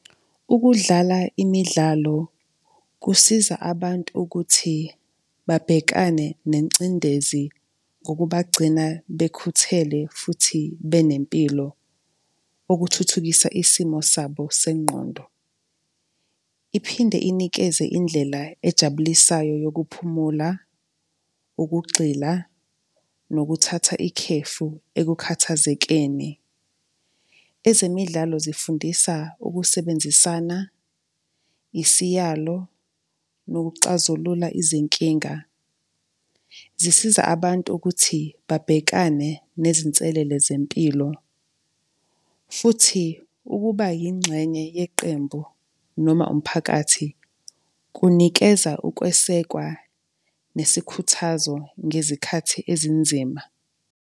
Ukudlala imidlalo kusiza abantu ukuthi babhekane nengcindezi ngokubagcina bekhuthele, futhi benempilo, okuthuthukisa isimo sabo sengqondo. Iphinde inikeze indlela ejabulisayo yokuphumula, ukugxila, nokuthatha ikhefu ekukhathazekeni. Ezemidlalo zifundisa ukusebenzisana, isiyalo, nokuxazulula izinkinga. Zisiza abantu ukuthi babhekane nezinselele zempilo. Futhi ukuba yingxenye yeqembu noma umphakathi, kunikeza ukwesekwa, nesikhuthazo ngezikhathi ezinzima.